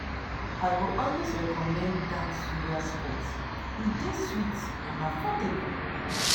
I go always recommend dat suya spot; e dey sweet and affordable.